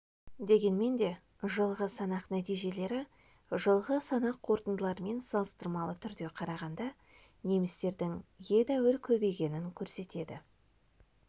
дегенмен де жылғы санақ нәтижелері жылғы санақ қорытындыларымен салыстырмалы түрде қарағанда немістердің едәуір көбейгенін көрсетеді